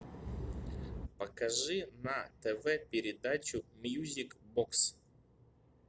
покажи на тв передачу мьюзик бокс